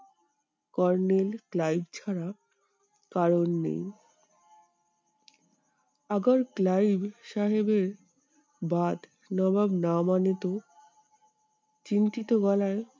Kornel Clive ছাড়া কারোর নেই। ক্লাইভ সাহেবের নবাব বলে তো? চিন্তিত গলায়